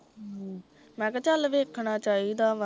ਹਮ, ਮੈ ਕਿਹਾ ਚਲ ਵੇਖਣਾ ਚਾਹੀਦਾ ਵਾਂ